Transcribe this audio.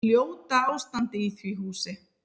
Ljóta ástandið í því húsi.